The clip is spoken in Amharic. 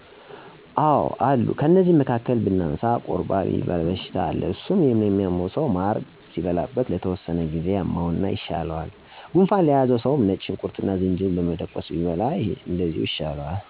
አዎ አሉ ከነዚህም መካከል ብናነሳ፦ ቁርባ የሚባል በሽታ አለ እሱ ለሚያመው ሰዉ ማር ሲበላበት ለተወሰነ ጊዜ ያመውና ይሻለዋል። ጉንፋን ለያዘው ሰውም ነጭ ሽንኩርትና ዝንጅብል በመደቆስ ደባልቆ ሲበላው ይሻለዋል። ሳሙና ወይም አሲድ ነገር ህጻናት በስህተት ወደአፋቸው ቢወስዱ ወይም ቢመገቡ ወተት ሲጠጡበት ይሽረዋል። ጤና አዳም የሚባል ለጉንፋን እንዲሁም ለሌላ ህክምና ይውላል። እኔ እነዚህን አስታወስሁ እንጂ ብዙ አይነት መድኃኒቶች በባህል የሚሰጡ አሉ።